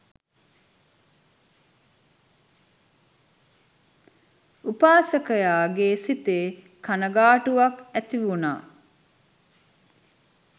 උපාසකයාගේ සිතේ කණගාටුවක් ඇතිවුණා